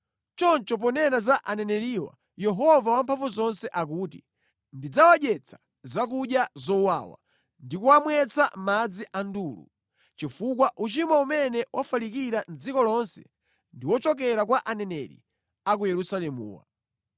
Choncho ponena za aneneriwa Yehova Wamphamvuzonse akuti, “Ndidzawadyetsa zakudya zowawa ndi kuwamwetsa madzi a ndulu, chifukwa uchimo umene wafalikira mʼdziko lonse ndi wochokera kwa aneneri a ku Yerusalemuwa.”